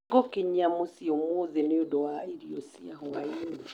Nĩ ngũkinyia mũciĩ ũmũthĩ nĩ ũndũ wa irio cia hwaĩ-inĩ.